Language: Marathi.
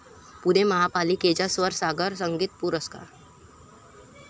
पुणे महापालिकेचा स्वरसागर संगीत पुरस्कार